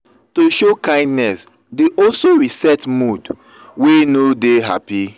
to show kindness dey also reset mood wey no de happy